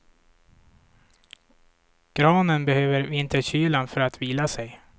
Granen behöver vinterkylan för att vila sig.